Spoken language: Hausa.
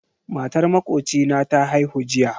Matar makocina ta haihu jiya